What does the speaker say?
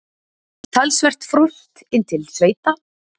Talsvert frost inn til sveita